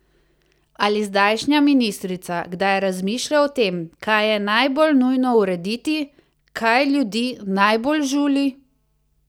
Ali zdajšnja ministrica kdaj razmišlja o tem, kaj je najbolj nujno urediti, kaj ljudi najbolj žuli?